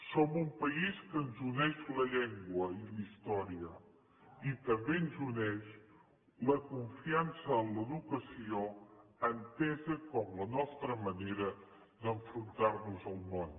som un país que ens uneix la llengua i la història i també ens uneix la confiança en l’educació entesa com la nostra manera d’enfrontarnos al món